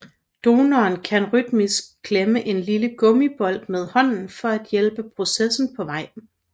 Donoren kan rytmisk klemme en lille gummibold med hånden for at hjælpe processen på vej